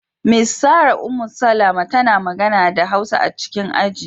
Miss Sarah Ummu-Salama tana magana da Hausa a cikin aji.